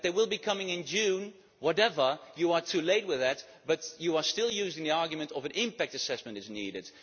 That they will be coming in June, it does not matter, you are too late with that, but you are still using the argument that an impact assessment is needed.